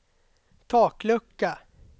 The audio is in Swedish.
taklucka